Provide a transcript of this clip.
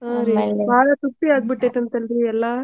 ಬಾಳ ತುಟ್ಟಿ ಆಗಿಬಿಟ್ಟೈತಂತಲ್ರಿ ಎಲ್ಲಾ?